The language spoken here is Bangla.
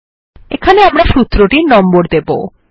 এখানে আমরা সূত্রটির নম্বর দেবো